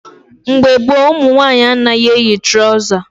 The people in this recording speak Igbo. Mgbe gboo, ụmụ nwaanyị anaghị eyi trọza